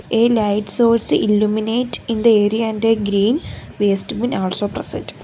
a light source illuminate in the area and a green wastebin also present.